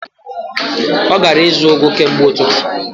Ọ gara ịzụ ugu kemgbe ụtụtụ.